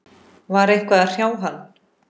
Var eitthvað að hrjá hann?